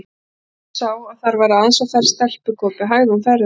Þegar konan sá að þar var aðeins á ferð stelpugopi, hægði hún ferðina.